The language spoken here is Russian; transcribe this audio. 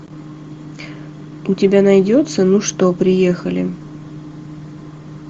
у тебя найдется ну что приехали